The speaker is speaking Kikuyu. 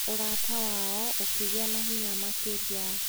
Ũrata wao ũkĩgĩa na hinya makĩria.